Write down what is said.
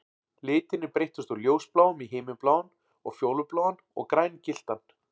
Litirnir breyttust úr ljósbláum í himinbláan og fjólubláan og grængylltan